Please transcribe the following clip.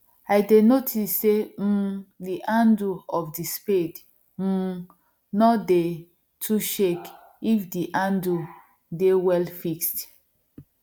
i dey notice say um the handle of the spade um nor dey too shake if the handle dey well fixed